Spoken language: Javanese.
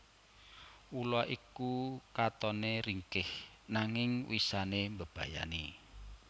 Ula iku katone ringkih nanging wisane mbebayani